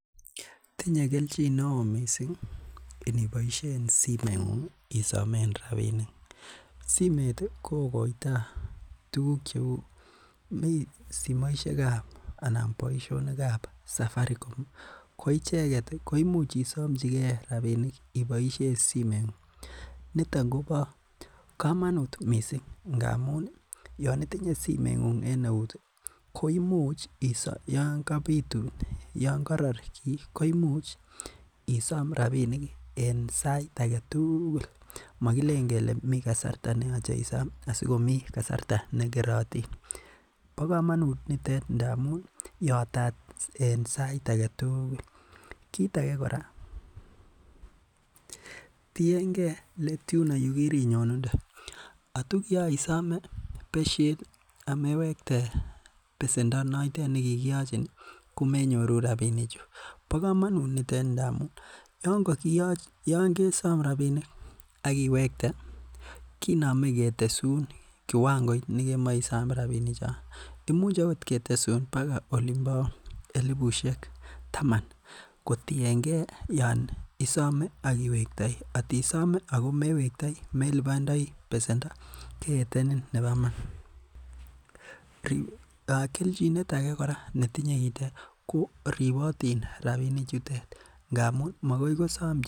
Tinye kelchin neo missing iniboisien simeng'ung isomen rabinik, simet ii kogoito tuguk cheu mii simoisiek ab anan boisionik ab Safaricom ii, ko icheget koimuch isomchigen rabinik iboisien simeng'ung niton kobo komonut missing ngamun ii yonitinye simeng'ung en eut ii ko yon koror gii ko imuch isom rabinik ii en sait agetugul mogilen kele migasarta neyoche isom ii asigomi kasarta nekerotin, bo kamonut nitet ngamun yatat en sait agetugul, kit age kota tiengen leet yuno yekirinyonunde, ngot ko kiyoisome besyet amewekte besendo notet nekigiyochin ii komenyoru rabinikchu, bo komonut nitet amun yongesom rabinik akiwekte kinome kitesun kiwangoit nekemoe isom rabinikchon, imuch okot ketesun baga olimo elibusiek taman kotiengen yon isome ak iwektoi, kot isom ago mewektoi, melibondoi besendo keetenin nebo iman, keljinet age kora netinye ko ribotin rabinichutet ngamun magoi kosom chito..